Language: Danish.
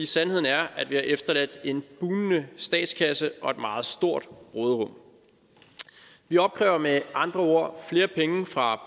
sandheden er at vi har efterladt en bugnende statskasse og et meget stort råderum vi opkræver med andre ord flere penge fra